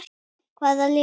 Hvaða lið?